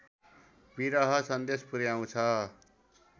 विरह सन्देश पुर्‍याउँछ